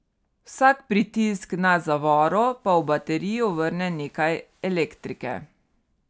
Vsak pritisk na zavoro pa v baterijo vrne nekaj elektrike.